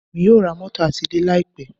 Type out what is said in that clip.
Èmi yóò ra mótò àti ilé láì pẹ́.